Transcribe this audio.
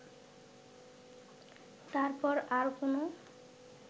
তার পর আর কোনো